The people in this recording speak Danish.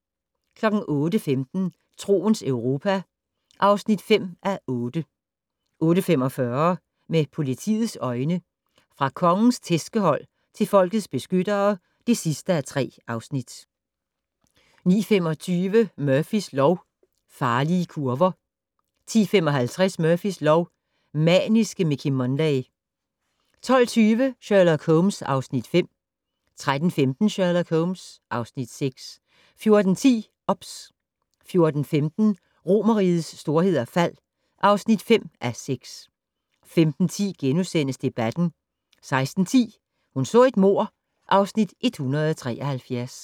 08:15: Troens Europa (5:8) 08:45: Med politiets øjne: Fra Kongens tærskehold til folkets beskyttere (3:3) 09:25: Murphys lov: Farlige kurver 10:55: Murphys lov: Maniske Mickey Munday 12:20: Sherlock Holmes (Afs. 5) 13:15: Sherlock Holmes (Afs. 6) 14:10: OBS 14:15: Romerrigets storhed og fald (5:6) 15:10: Debatten * 16:10: Hun så et mord (Afs. 173)